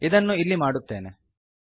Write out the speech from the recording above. ಇದನ್ನು ಇಲ್ಲಿ ಮಾಡುತ್ತೇನೆ